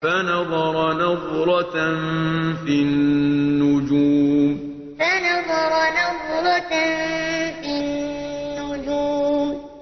فَنَظَرَ نَظْرَةً فِي النُّجُومِ فَنَظَرَ نَظْرَةً فِي النُّجُومِ